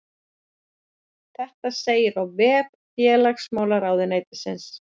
Þetta segir á vef félagsmálaráðuneytisins